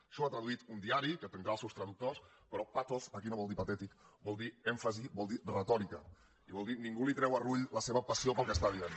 això ho ha traduït un diari que tindrà els seus traductors però pathos aquí no vol dir patètic vol dir èmfasi vol dir retòrica i vol dir que nin·gú li treu a rull la seva passió pel que està dient